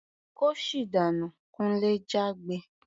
"Kóṣì dànú!" Kunle jágbe.